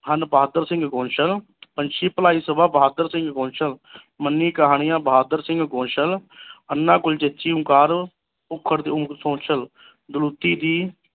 ਬਹਾਦਰ ਸਿੰਘ ਗੋਸਲ ਪੰਛੀ ਭਲਾਈ ਸਭਾ ਬਹਾਦਰ ਸਿੰਘ ਗੋਸਲ ਮਿੰਨੀ ਕਹਾਣੀਆਂ ਬਹਾਦਰ ਸਿੰਘ ਗੋਸਲ ਅੰਨ੍ਹਾ ਓਂਕਾਰ